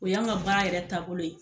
O y'an ka baara yɛrɛ taabolo ye